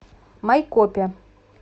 майкопе